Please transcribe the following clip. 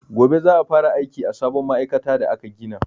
Gobe za'a fara aiki a sabon ma'aikata da aka gina.